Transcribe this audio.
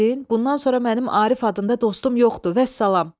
Bundan sonra mənim Arif adında dostum yoxdur, vəssalam!